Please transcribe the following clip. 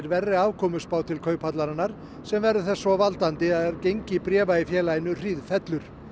verri afkomuspá til Kauphallarinnar sem verður þess svo valdandi að gengi bréfa í félaginu hríðfellur